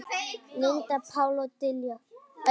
Linda, Páll og Diljá.